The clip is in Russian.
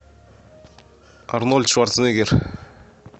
арнольд шварценеггер